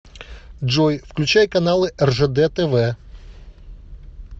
джой включай каналы ржд тв